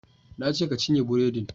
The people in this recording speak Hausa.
Na ce ka cinye buredin!